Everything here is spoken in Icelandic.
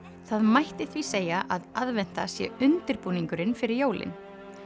það mætti því segja að aðventa sé undirbúningurinn fyrir jólin